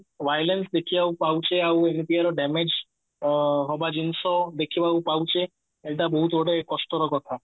violence ଦେଖିବାକୁ ପାଉଛେ ଆଉ damage ଅ ହବା ଜିନିଷ ଦେଖିବାକୁ ପାଉଛେ ଏଇଟା ବହୁତ ଗୋଏତ କଷ୍ଟର କଥା